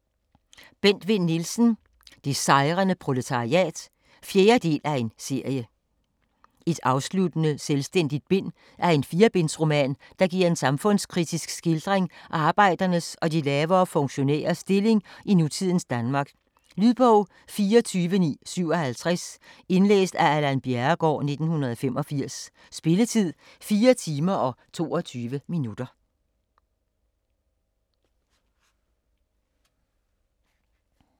Vinn Nielsen, Bent: Det sejrende proletariat 4. del af serie. Et afsluttende, selvstændigt bind af en 4-bindsroman, der giver en samfundskritisk skildring af arbejdernes og de lavere funktionærers stilling i nutidens Danmark. Lydbog 24957 Indlæst af Allan Bjerregaard, 1985. Spilletid: 4 timer, 22 minutter.